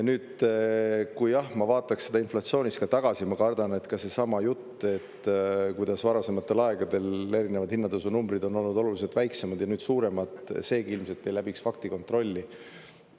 Kui ma vaataks inflatsioonis ka tagasi, ma kardan, et ka seesama jutt, et kuidas varasematel aegadel erinevad hinnatõusunumbrid on olnud oluliselt väiksemad ja nüüd on suuremad, seegi ilmselt ei läbiks faktikontrolli.